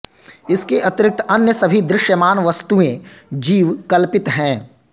इसके अतिरिक्त अन्य सभी दृश्यमान वस्तुएँ जीव कल्पित हैं